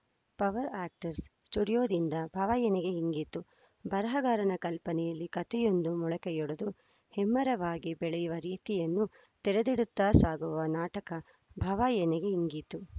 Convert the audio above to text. power artist ಸ್ಟುಡಿಯೋದಿಂದ ಭವ ಎನಗೆ ಹಿಂಗಿತು ಬರಹಗಾರನ ಕಲ್ಪನೆಯಲ್ಲಿ ಕಥೆಯೊಂದು ಮೊಳಕೆಯೊಡೆದು ಹೆಮ್ಮರವಾಗಿ ಬೆಳೆಯುವ ರೀತಿಯನ್ನು ತೆರೆದಿಡುತ್ತಾ ಸಾಗುವ ನಾಟಕ ಭವ ಎನಗೆ ಹಿಂಗಿತು